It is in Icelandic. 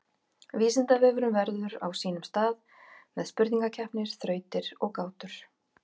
Vísindavefurinn verður á sínum stað með spurningakeppni, þrautir og gátur.